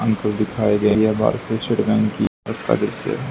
हमको दिखाई दे रहया बाहार से दृश्य--